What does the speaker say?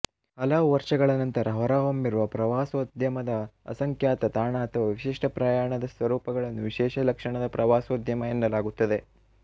ಹಲವು ವರ್ಷಗಳ ನಂತರ ಹೊರಹೊಮ್ಮಿರುವ ಪ್ರವಾಸೋದ್ಯಮದ ಅಸಂಖ್ಯಾತ ತಾಣ ಅಥವಾ ವಿಶಿಷ್ಟ ಪ್ರಯಾಣದ ಸ್ವರೂಪಗಳನ್ನು ವಿಶೇಷ ಲಕ್ಷಣದ ಪ್ರವಾಸೋದ್ಯಮ ಎನ್ನಲಾಗುತ್ತದೆ